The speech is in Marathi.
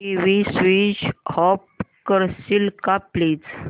टीव्ही स्वीच ऑफ करशील का प्लीज